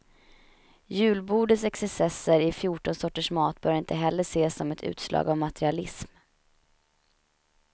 Julbordets excesser i fjorton sorters mat bör inte heller ses som ett utslag av materialism.